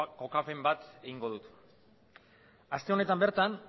kokapen bat egingo dut aste honetan bertan